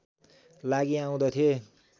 लागि आउँदथे